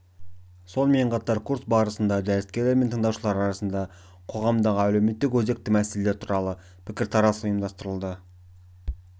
сонымен қатар курс барысында дәріскерлер мен тыңдаушылар арасында қоғамдағы әлеуметтік өзекті мәселелер туралы пікірталас ұйымдастырылды